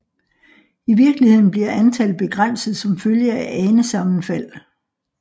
I virkeligheden bliver antallet begrænset som følge af anesammenfald